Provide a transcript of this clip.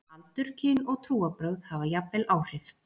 Aldur, kyn, og trúarbrögð hafa jafnvel áhrif.